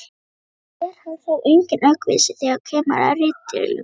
og er hann þó enginn aukvisi þegar kemur að ritdeilum.